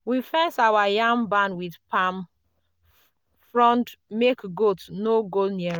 we fence our yam barn with palm frond make goat no go near am.